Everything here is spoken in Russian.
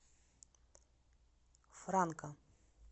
франка